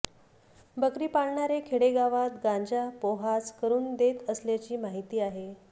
बकरी पाळणारे खेडेगावात गांजा पोहाच करून देत असल्याची माहिती आहे